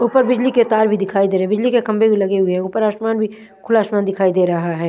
ऊपर बिजली तार भी दिखाई दे रहे है बिजली के खम्बे भी लगे हुए है ऊपर आसमान भी खुला आसमान दिखाई दे रहा है।